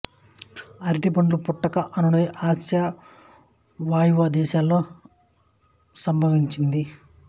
అరటి చెట్ల పుట్టుక అనునది ఆసియా వాయువ్య దేశాలలో సంభవించింది